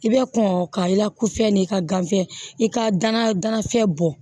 I bɛ kɔn ka i la kufɛ n'i ka ganfiyɛ i ka danafɛn bɔn